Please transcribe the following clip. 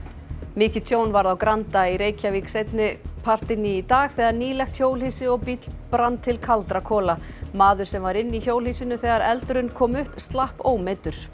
mikið tjón varð á Granda í Reykjavík seinni partinn í dag þegar nýlegt hjólhýsi og bíll brann til kaldra kola maður sem var inni í hjólhýsinu þegar eldurinn kom upp slapp ómeiddur